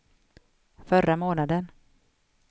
förra månaden